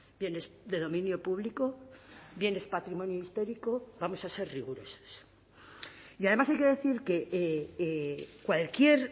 bienes de dominio público bienes patrimonio histórico vamos a ser rigurosos y además hay que decir que cualquier